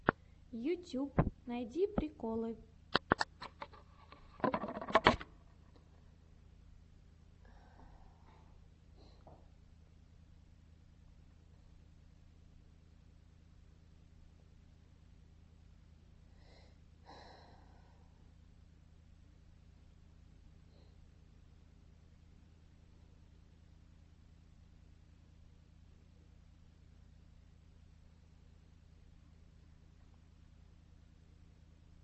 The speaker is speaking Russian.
ютюб найди приколы